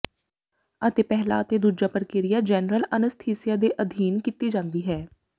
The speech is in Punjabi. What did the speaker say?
ਅਤੇ ਪਹਿਲਾ ਅਤੇ ਦੂਜਾ ਪ੍ਰਕਿਰਿਆ ਜੈਨਰਲ ਅਨੱਸਥੀਸੀਆ ਦੇ ਅਧੀਨ ਕੀਤੀ ਜਾਂਦੀ ਹੈ